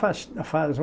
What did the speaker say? Faz, faz o